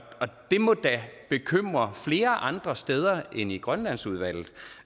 det må da bekymre flere andre steder end i grønlandsudvalget